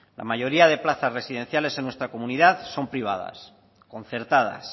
la mayoría de plazas residenciales en nuestra comunidad son privadas concertadas